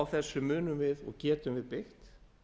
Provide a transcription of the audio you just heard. á þessum munum við og getum við byggt